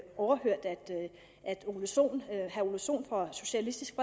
ole sohn sohn fra socialistisk